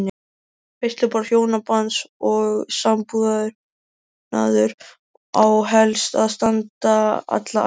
Veisluborð hjónabands og sambúðar á helst að standa alla ævi.